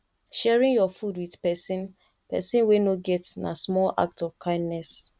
sharing your food with person person wey no get na small act of kindness